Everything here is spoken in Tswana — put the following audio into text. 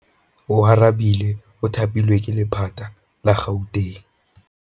Oarabile o thapilwe ke lephata la Gauteng.